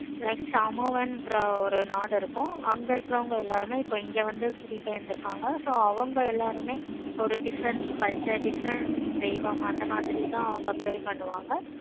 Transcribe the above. like என்ற ஒரு நாடு இருக்கும். அங்க இருக்குறவங்க எல்லாருமே இப்போ இங்க வந்து குடிபேய்ந்து இருக்காங்க so அவங்க எல்லாருமே ஒரு different culture different தெய்வம் அந்த மாதிரி தான் அவங்க pray பண்ணுவாங்க